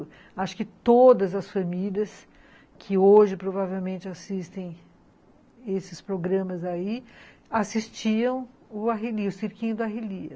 Acho que todas as famílias que hoje provavelmente assistem esses programas aí, assistiam o Arrelia, o cirquinho da Arrelia.